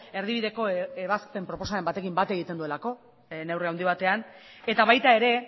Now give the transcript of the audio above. erdibideko ebazpen proposamenarekin bat egiten duelako neurri handi batean eta baita ere